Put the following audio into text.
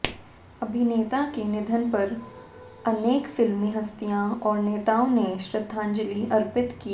अभिनेता के निधन पर अनेक फिल्मी हस्तियों और नेताओं ने श्रद्धांजलि अर्पित की